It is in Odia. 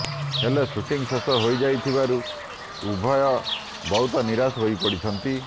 ହେଲେ ଶୁଟିଂ ଶେଷ ହୋଇଯାଇଥିବାରୁ ଉଭୟ ବହୁତ ନିରାଶ ହୋଇପଡିଛନ୍ତି